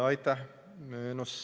Aitäh!